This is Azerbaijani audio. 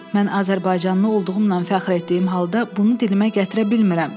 Mən azərbaycanlı olduğumdan fəxr etdiyim halda, bunu dilimə gətirə bilmirəm.